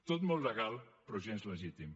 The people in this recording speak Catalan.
tot molt legal però gens legítim